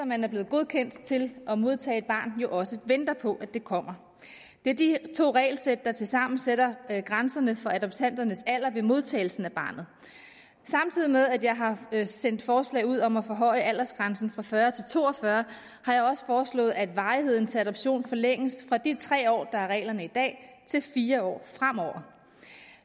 man er blevet godkendt til at modtage et barn jo også venter på at det kommer det er de to regelsæt der tilsammen sætter grænserne for adoptanternes alder ved modtagelsen af barnet samtidig med at jeg har sendt forslaget ud om at forhøje aldersgrænsen fra fyrre til to og fyrre år har jeg også foreslået at varigheden til adoption forlænges fra de tre år der er reglen i dag til fire år fremover